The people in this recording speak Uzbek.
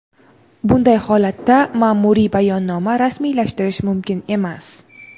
bunday holatda maʼmuriy bayonnoma rasmiylashtirish mumkin emas.